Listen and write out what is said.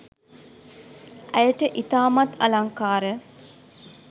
ඇයට ඉතාමත්ම අලංකාර